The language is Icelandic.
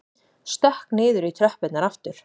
Stökk niður í tröppurnar aftur.